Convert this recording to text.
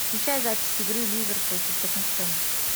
включай запись игры ливер против тоттенхэма